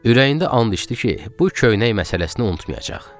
Ürəyində and içdi ki, bu köynək məsələsini unutmayacaq.